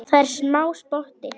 Það er smá spotti.